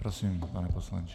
Prosím, pane poslanče.